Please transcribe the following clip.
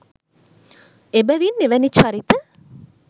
එබැවින් එවැනි චරිත